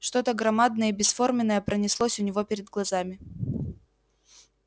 что то громадное и бесформенное пронеслось у него перед глазами